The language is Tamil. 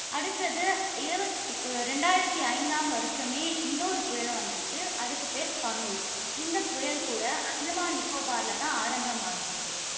அடுத்தது இருவத்~ இரண்டாயிரத்து ஐந்தாம் வருஷமே, இன்னொரு புயலும் வந்துச்சு, அதுக்குப் பெயர் பனு. இந்த புயல் கூட, அந்தமான் நிக்கோபார்ல தான் ஆரம்பமாகியிருக்கு.